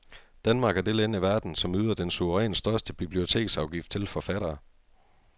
Danmark er det land i verden, som yder den suverænt største biblioteksafgift til forfattere.